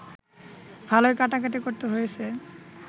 ভালোই কাটাকাটি করতে হয়েছে